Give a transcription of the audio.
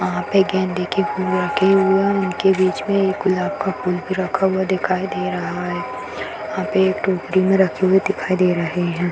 यहाँ पे गेंदे के फूल रखे हुए हैं उनके बीच में एक गुलाब का फूल भी रखा हुआ दिखाई दे रहा है | यहाँ पे एक टोकरी में रखे हुए दिखाई दे रहे हैं।